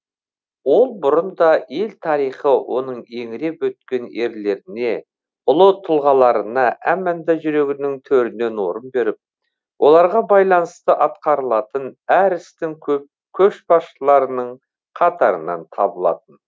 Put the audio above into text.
ол бұрында ел тарихы оның еңіреп өткен ерлеріне ұлы тұлғаларына әманда жүрегінің төрінен орын беріп оларға байланысты атқарылатын әр істің көшбасшыларының қатарынан табылатын